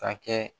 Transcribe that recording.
Ka kɛ